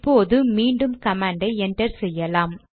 இப்போது மீண்டும் கமாண்டை என்டர் செய்யலாம்